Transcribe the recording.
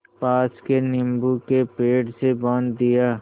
पास के नीबू के पेड़ से बाँध दिया